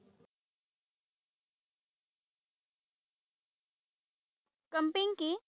Camping কি?